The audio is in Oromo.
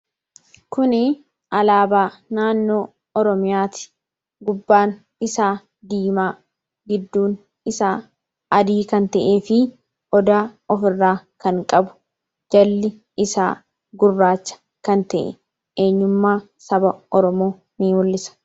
Kun alaabaa naannoo oromiyaati. Gubbaan isaa diimaa gidduun isaa adii kan ta'eefi odaa kan ofirraa kan qabu jalli isaa gurraacha kan ta'e eenyummaa saba oromoo ni mul'isa.